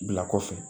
Bila kɔfɛ